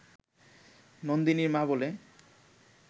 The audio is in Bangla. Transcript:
নন্দিনীর মা বলে